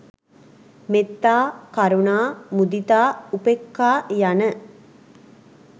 මෙත්තා, කරුණා, මුදිතා, උපෙක්‍ඛා, යන